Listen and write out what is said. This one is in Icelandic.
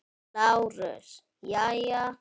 LÁRUS: Jæja?